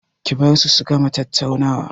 Ki bar su su gama tattaunawa!